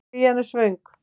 Krían er svöng.